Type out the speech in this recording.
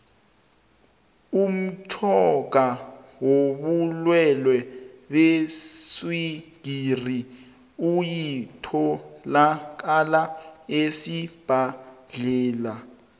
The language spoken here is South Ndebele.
umtjhoga wobulwelwe beswigiri uyatholakala esibhedlela